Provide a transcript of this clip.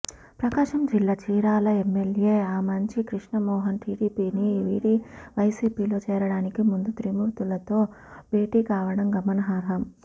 ప్రకాశం జిల్లా చీరాల ఎమ్మెల్యే ఆమంచి కృష్ణమోహన్ టీడీపీని వీడి వైసీపీలో చేరడానికి ముందు త్రిమూర్తులుతో భేటీ కావడం గమనార్హం